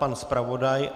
Pan zpravodaj?